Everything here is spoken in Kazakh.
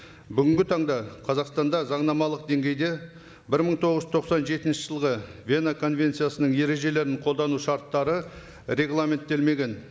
бүгінгі таңда қазақстанда заңнамалық деңгейде бір мың тоғыз жүз тоқсан жетінші жылғы вена конвенциясының ережелерін қолдану шарттары регламенттелмеген